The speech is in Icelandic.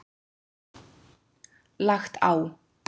Lagt á.